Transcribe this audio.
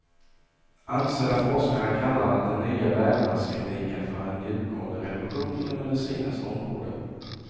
Ansedda forskare kallar den nya vävnadstekniken för en djupgående revolution inom medicinens område.